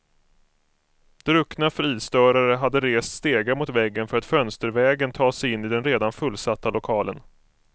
Druckna fridstörare hade rest stegar mot väggen för att fönstervägen ta sig in i den redan fullsatta lokalen.